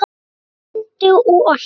Með bindi og allt!